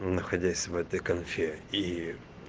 но находясь в этой конфе и